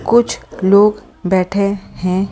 कुछ लोग बैठे हैं ।